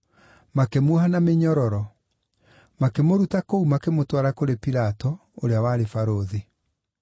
Makĩmuoha na mĩnyororo; makĩmũruta kũu, makĩmũtwara kũrĩ Pilato, ũrĩa warĩ barũthi.